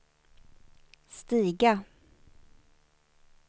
stiga